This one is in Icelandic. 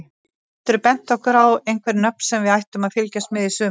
Geturðu bent okkur á einhver nöfn sem við ættum að fylgjast með í sumar?